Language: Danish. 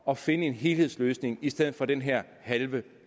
og finde en helhedsløsning i stedet for den her halve